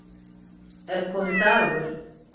Er kominn dagur?